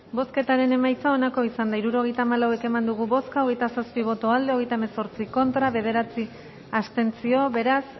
bozketaren emaitza onako izan da hirurogeita hamalau eman dugu bozka hogeita zazpi boto aldekoa hogeita hemezortzi contra bederatzi abstentzio beraz